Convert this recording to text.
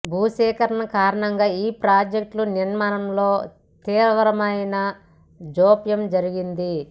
భూసేకరణ కారణంగా ఈ ప్రాజెక్ట్ల నిర్మాణంలో తీవ్రమైన జాప్యం జరిగింది